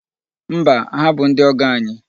Mba, ha bụ ndị ọgọ anyị.